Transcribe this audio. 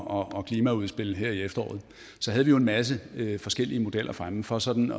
og klimaudspil her i efteråret havde vi jo en masse forskellige modeller fremme for sådan